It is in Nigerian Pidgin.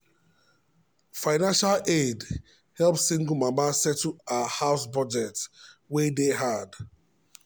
financial aid help single mama settle her house budget wey dey hard.